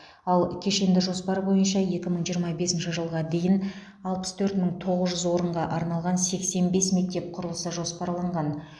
ал кешенді жоспар бойынша екі мың жиырма бесінші жылға дейін алпыс төрт мың тоғыз жүз орынға арналған сексен бес мектеп құрылысы жоспарланған